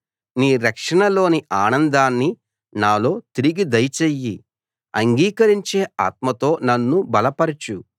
నీ రక్షణలోని ఆనందాన్ని నాలో తిరిగి దయచెయ్యి అంగీకరించే ఆత్మతో నన్ను బలపరచు